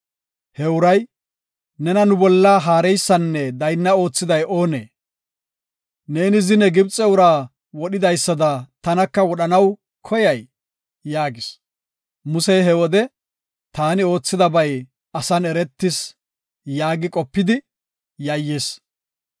He uray, “Nena nu bolla haareysanne daynna oothiday oonee? Neeni zine Gibxe uraa wodhidaysada, tanaka wodhanaw koyay?” yaagis. Musey he wode, “Taani oothidabay asan eretis” yaagi qopidi yayyis.